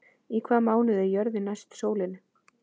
Í hvaða mánuði er jörðin næst sólinni?